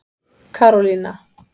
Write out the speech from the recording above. Karólína